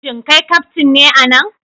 Shin kai kaftin ne a nan?